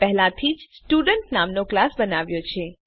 મેં પહેલાથી જ સ્ટુડન્ટ નામનો ક્લાસ બનાવ્યો છે